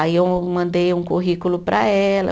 Aí eu mandei um currículo para ela.